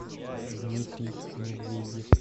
дмитрий медведев